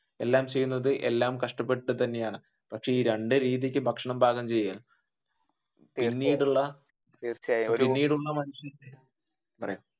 എല്ലാം ചെയ്യുന്നത് എല്ലാം കഷ്ടപെട്ടിട്ടു തന്നെയാണ് പക്ഷെ ഈ രണ്ടു രീതിക്ക് ഭക്ഷണം പാകം ചെയ്യൽ